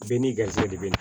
Bɛɛ n'i garisɛgɛ de bɛ na